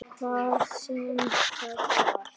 Hvað sem það var.